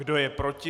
Kdo je proti?